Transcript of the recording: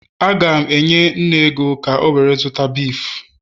Agam enye nne ego ka o were zuta beef